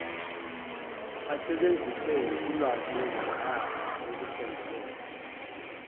asebenzise ulwazimagama olusondelene